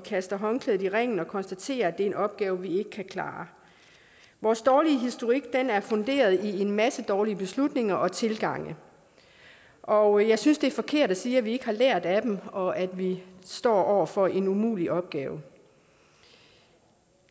kaster håndklædet i ringen og konstaterer at det er en opgave vi ikke kan klare vores dårlige historik er funderet i en masse dårlige beslutninger og tilgange og jeg synes det er forkert at sige at vi ikke har lært af dem og at vi står over for en umulig opgave